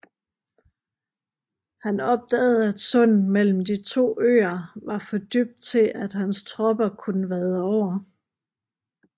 Han opdagede at sundet mellem de to øer var for dybt til at hans tropper kunne vade over